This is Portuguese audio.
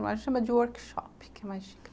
Nós chamamos de workshop.